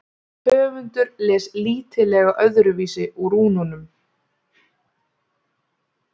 höfundur les lítillega öðruvísi úr rúnunum